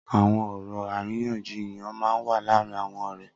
Awọn ọrọ àrínyànjíyàn mà n wà làárin awọn ọrẹ